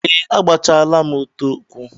Ee, agbachaala m ute ụkwụ.